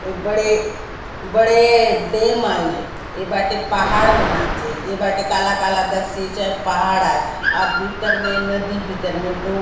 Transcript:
ये बड़े बड़े डैम आय ये ये बाटे पहाड़ मन आचे ए बाटे काला काला दकसी आचे हाय पहाड आय ए भीतर में नदी भीतर में डों--